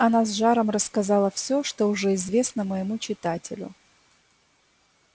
тут она с жаром рассказала всё что уже известно моему читателю